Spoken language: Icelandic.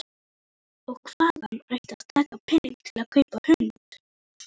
Og hvaðan ætti að taka peninga til að kaupa hund?